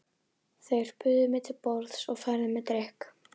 Þeir buðu mér til borðs og færðu mér drykk.